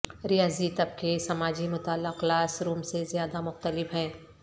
ریاضی طبقے سماجی مطالعہ کلاس روم سے زیادہ مختلف ہیں